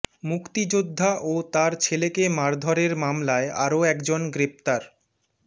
মুক্তিযোদ্ধা ও তার ছেলেকে মারধরের মামলায় আরও একজন গ্রেফতার